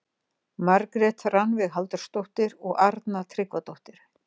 Margrét Rannveig Halldórsdóttir og Arna Tryggvadóttir.